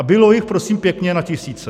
A bylo jich prosím pěkně na tisíce.